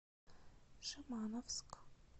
шимановск